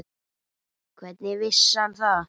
Hvernig vissi hann það?